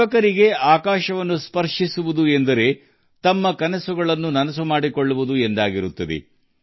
ಯುವಜನರಿಗೆ ಆಕಾಶವನ್ನು ಮುಟ್ಟುವುದು ಎಂದರೆ ಕನಸುಗಳನ್ನು ನನಸಾಗಿಸುವುದು ಎಂದರ್ಥ